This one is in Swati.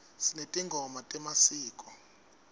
sinetingoma temasiko